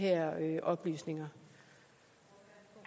oplysninger og